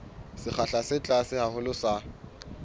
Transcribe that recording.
sekgahla se tlase haholo sa